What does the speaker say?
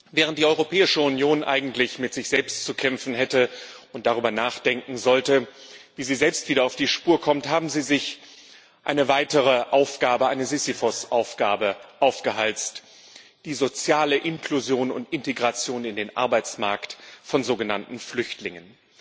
Während die Europäische Union eigentlich mit sich selbst zu kämpfen hätte und darüber nachdenken sollte, wie sie selbst wieder auf die Spur kommt, hat sie sich eine weitere Aufgabe, eine Sisyphos Aufgabe, aufgehalst die soziale Inklusion und Integration in den Arbeitsmarkt von sogenannten Flüchtlingen.